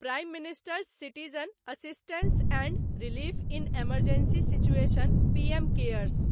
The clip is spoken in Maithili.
prime minister's citizen assistance and relief in emergency situation PM cares